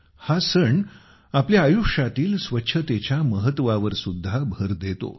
हा सण आपल्या आयुष्यातील स्वच्छतेच्या महत्त्वावरसुद्धा भर देतो